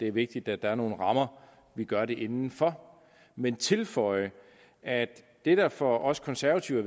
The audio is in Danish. er vigtigt at der er nogle rammer vi gør det inden for men tilføje at det der for os konservative